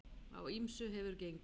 Á ýmsu hefur gengið.